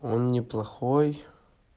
он неплохой